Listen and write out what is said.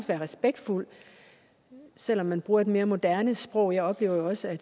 være respektfuld selv om man bruger et mere moderne sprog jeg oplever jo også at